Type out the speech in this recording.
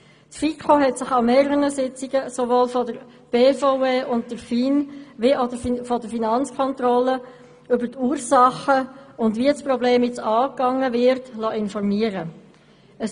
Die FiKo hat sich an mehreren Sitzungen von der BVE und von der FIN wie auch von der Finanzkontrolle über die Ursachen und über die Frage, wie das Problem nun angegangen wird, informieren lassen.